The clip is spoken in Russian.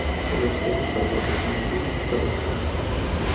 салют средняя продолжительность жизни в казахстан